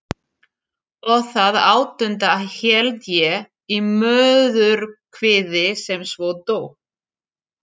Og það áttunda held ég í móðurkviði sem svo dó.